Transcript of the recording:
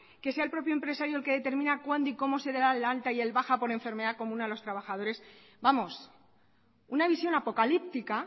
que sea el propio empresario el que determina cuándo y cómo se le da el alta y la baja por enfermedad común a los trabajadores vamos una visión apocalíptica